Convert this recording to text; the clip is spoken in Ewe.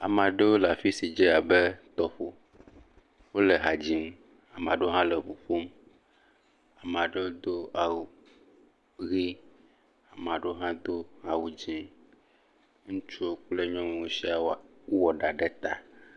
Ama ɖewo le afi si dzé abe tɔƒo. Wole ha dzim. Ama ɖewo hã le ŋu ƒom. Ama ɖewo do awu ʋe. Ama ɖewo hã do awu dzẽ. Ŋutsuwo kple nyɔnu siaa woa, wowɔ ɖa ɖe ta.